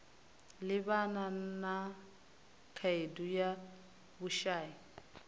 livhana na khaedu ya vhushai